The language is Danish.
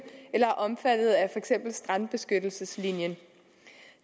eller er omfattet af eksempel strandbeskyttelseslinjen